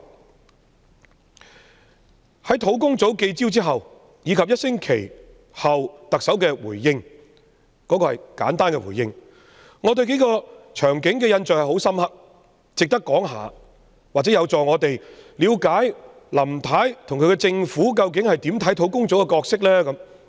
專責小組舉行的記者招待會及1星期後特首的簡單回應，有數個場景令我印象十分深刻，值得一提，或者有助我們了解林太及其政府如何看待專責小組的角色。